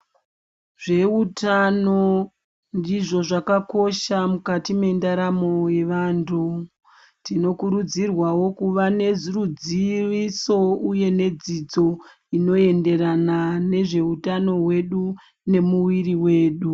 Zveutano ndizvo zvakakosha mukati mendaramo yevantu tinokurudzirwawo kuva neruziviso uye nedzidzo inoenderana nezveutano hwedu nemuviri wedu .